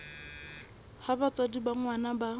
ha batswadi ba ngwana ba